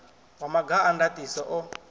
wa maga a ndaṱiso o